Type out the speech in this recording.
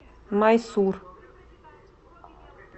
майсур